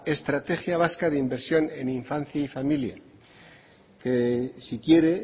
estrategia vasca de inversión en infancia y familia que si quiere